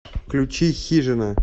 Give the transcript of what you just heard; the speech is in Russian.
включи хижина